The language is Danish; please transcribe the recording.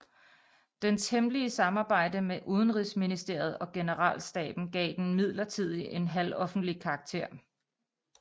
Dens hemmelige samarbejde med udenrigsministeriet og generalstaben gav den imidlertid en halvoffentlig karakter